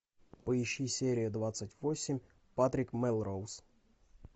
поищи серия двадцать восемь патрик мелроуз